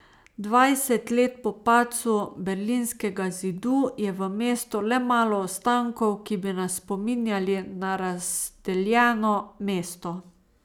Dvajset let po padcu Berlinskega zidu je v mestu le malo ostankov, ki bi nas spominjali na razdeljeno mesto.